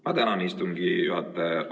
Ma tänan, istungi juhataja!